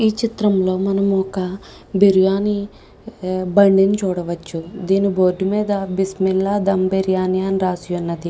ఈ చిత్రం లో మనము ఒక బిర్యానీ చూడవచు దేని బోర్డు మీద బిస్మిల్లా ధూమ్ బిర్యానీ అని రాసి ఉన్నదీ.